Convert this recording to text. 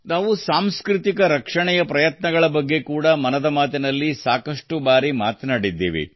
ನಾವು ಸಾಂಸ್ಕೃತಿಕ ರಕ್ಷಣೆಯ ಪ್ರಯತ್ನಗಳ ಬಗ್ಗೆ ಕೂಡಾ ಮನದ ಮಾತಿನಲ್ಲಿ ಸಾಕಷ್ಟು ಬಾರಿ ಮಾತನಾಡಿದ್ದೇವೆ